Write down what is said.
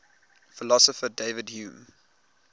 philosopher david hume